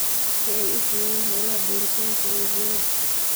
si ay u fuliyaan hawlaha beeritaanka ee viaz